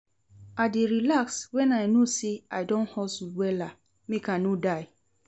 I dey relax wen I no sey I don hustle wella, make I no die.